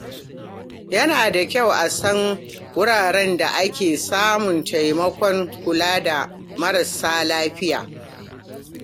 Yana da kyau a san wuraren da ake samun taimakon kula da marasa lafiya.